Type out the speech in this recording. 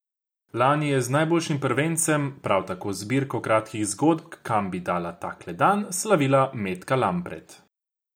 Lani je z najboljšim prvencem, prav tako zbirko kratkih zgodb Kam bi dala takle dan, slavila Metka Lampret.